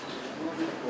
Düzəldə bilərəm.